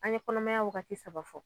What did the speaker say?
An ye kɔnɔmaya wagati saba fɔ